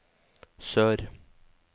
sør